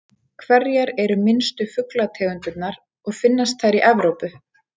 Hverjar eru minnstu fuglategundirnar og finnast þær í Evrópu?